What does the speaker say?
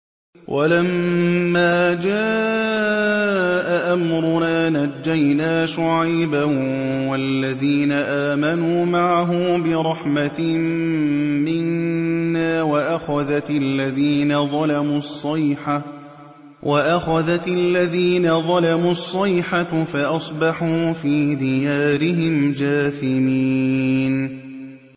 وَلَمَّا جَاءَ أَمْرُنَا نَجَّيْنَا شُعَيْبًا وَالَّذِينَ آمَنُوا مَعَهُ بِرَحْمَةٍ مِّنَّا وَأَخَذَتِ الَّذِينَ ظَلَمُوا الصَّيْحَةُ فَأَصْبَحُوا فِي دِيَارِهِمْ جَاثِمِينَ